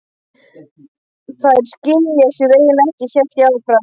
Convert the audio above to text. Þær skila sér eiginlega ekki, hélt ég áfram.